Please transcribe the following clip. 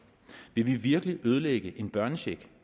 vil vi virkelig ødelægge en børnecheck